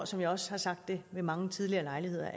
som jeg også har sagt ved mange tidligere lejligheder